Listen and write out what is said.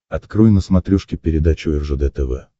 открой на смотрешке передачу ржд тв